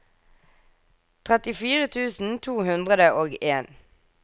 trettifire tusen to hundre og en